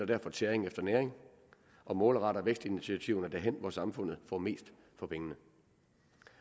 derfor tæring efter næring og målretter vækstinitiativerne derhen hvor samfundet får mest for pengene